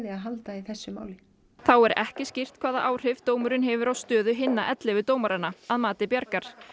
að halda í þessu máli þá er ekki skýrt hvaða áhrif dómurinn hefur á stöðu hinna dómaranna að mati Bjargar